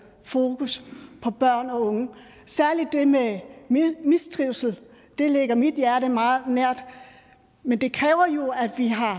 fokus på børn og unge særlig det med mistrivsel det ligger mit hjerte meget nær men det kræver jo at vi har